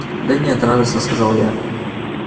да нет радостно сказала я